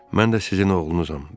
"Mən də sizin oğlunuzam.